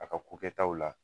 A ka ko kɛ taw la.